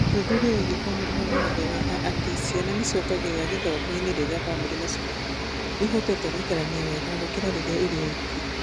Ũthuthuria wĩgiĩ wa Famĩrĩ wonanagia wega atĩ ciana nĩ ciongagĩrĩra kĩthomo-inĩ rĩrĩa famĩlĩ na cukuru ciĩhotorete gũikarania wega gũkĩra rĩrĩa irĩ oiki.